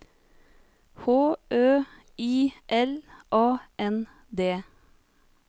H Ø I L A N D